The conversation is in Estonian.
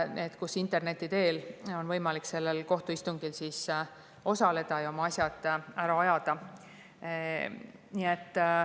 Näiteks on interneti teel võimalik kohtuistungil osaleda ja oma asjad ära ajada.